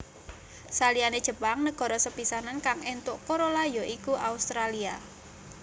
Saliyane Jepang negara sepisanan kang éntuk Corolla ya iku Australia